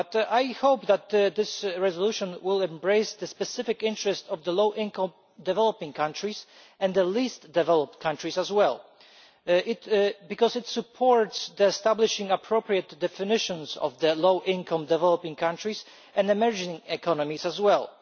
I hope that this resolution will embrace the specific interest of the low income developing countries and the least developed countries as well, because it supports the establishing of appropriate definitions of low-income developing countries and emerging economies as well.